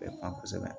Bɛ ban kosɛbɛ